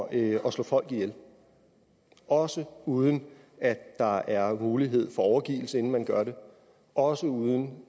at slå folk ihjel også uden at der er mulighed for overgivelse inden man gør det og også uden